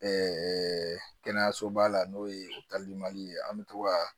kɛnɛyasoba la n'o ye ye an bɛ to ka